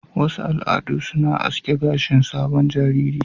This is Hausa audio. Wasu al'adu suna asking gashin sabon jariri.